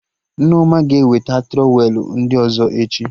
Nneoma ga-eweta trọwelụ ndị ọzọ echi